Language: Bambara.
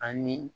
Ani